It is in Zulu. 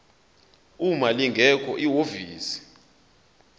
uma lingekho ihhovisi